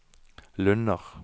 Lunner